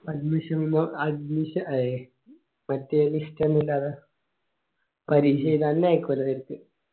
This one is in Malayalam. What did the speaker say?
admission num admission ഏ മറ്റേ list ഒന്നില്ലാല്ല പരീക്ഷ എയ്യ്താല തെരത്ത് ആയിക്കോലെ